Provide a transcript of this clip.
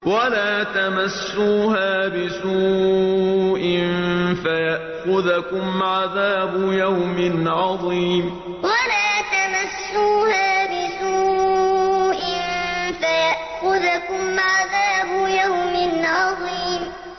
وَلَا تَمَسُّوهَا بِسُوءٍ فَيَأْخُذَكُمْ عَذَابُ يَوْمٍ عَظِيمٍ وَلَا تَمَسُّوهَا بِسُوءٍ فَيَأْخُذَكُمْ عَذَابُ يَوْمٍ عَظِيمٍ